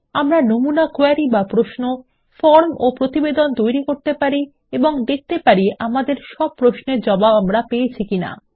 আমরা নমুনা কোয়েরী বা প্রশ্ন ফরম ও প্রতিবেদন তৈরি করতে পারি এবং দেখতে পারি আমাদের সব প্রশ্নের জবাব আমরা পেয়েছি কিনা